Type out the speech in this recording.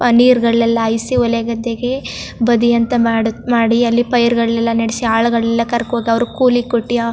ಆ ನೀರ್ ಗಳೆಲ್ಲಾ ಐಸೇ ಹೊಲಗದ್ದೆಗೆ ಬದಿ ಅಂತ ಮಾಡುತ್ ಮಾಡಿ ಅಲ್ಲಿ ಪೈರ್ ಗಳನ್ನೆಲ್ಲಾ ನೆಡ್ಸ್ ಆಳ್ ಗಳಿಗೆ ಕರಕೊಂಡ್ ಹೋಗಿ ಅವ್ರಿಗೆ ಕೂಲಿ ಕೊಟ್ಟಿಯಾ --